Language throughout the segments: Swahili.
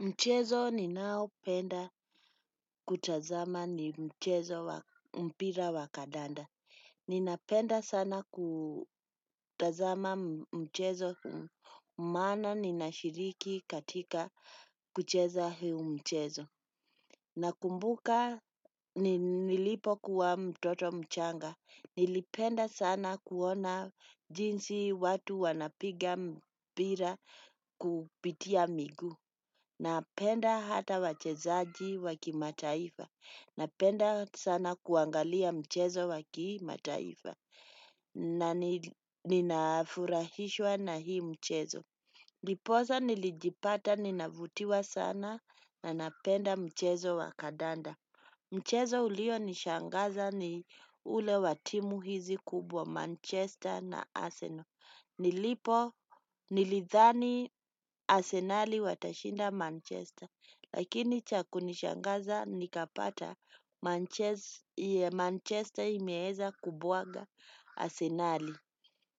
Mchezo ninao penda kutazama ni mchezowa mpira wa kadanda. Ninapenda sana kutazama mchezo maana ninashiriki katika kucheza huu mchezo. Nakumbuka nilipokua mtoto mchanga. Nilipenda sana kuona jinsi watu wanapiga mpira kupitia miguu. Napenda hata wachezaji wa kimataifa. Napenda sana kuangalia mchezo wa kimataifa na nina furahishwa na hii mchezo. Ndiposa nilijipata ninavutiwa sana na napenda mchezo wa kandanda. Mchezo ulio nishangaza ni ule wa timu hizi kubwa Manchester na Arsenal. Nilipo nilidhani asenali watashinda Manchester, lakini cha kunishangaza nikapata Manchester imeweza kubwaga asenali.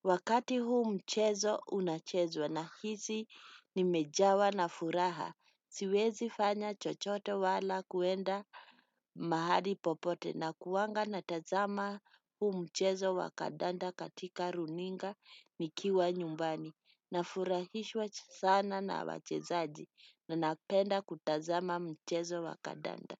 Wakati huu mchezo unachezwa, nahisi nimejawa na furaha. Siwezi fanya chochote wala kuenda mahali popote nakuanga na tazama huu mchezo wa kandanda katika runinga nikiwa nyumbani. Nafurahishwa sana na wachezaji na napenda kutazama mchezo wa kandanda.